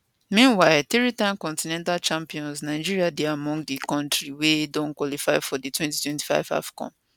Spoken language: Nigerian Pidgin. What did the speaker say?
meanwhile threetime continental champions nigeria dey among di kontris wey don qualify for di 2025 afcon